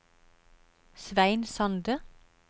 Svein Sande